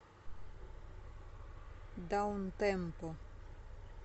даунтемпо